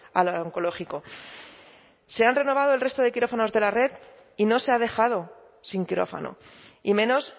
al oncológico se han renovado el resto de quirófanos de la red y no se ha dejado sin quirófano y menos